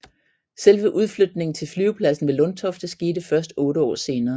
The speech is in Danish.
Selve udflytningen til flyvepladsen ved Lundtofte skete først 8 år senere